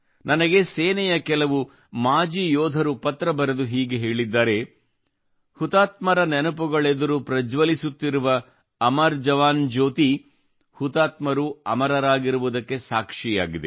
ನನಗೆ ಸೇನೆಯ ಕೆಲವು ಮಾಜಿ ಯೋಧರು ಪತ್ರ ಬರೆದು ಹೀಗೆ ಹೇಳಿದ್ದಾರೆ ಹುತಾತ್ಮರ ನೆನಪುಗಳೆದುರು ಪ್ರಜ್ವಲಿಸುತ್ತಿರುವ ಅಮರ ಜವಾನ್ ಜ್ಯೋತಿ ಹುತಾತ್ಮರು ಅಮರರಾಗಿರುವುದಕ್ಕೆ ಸಾಕ್ಷಿಯಾಗಿದೆ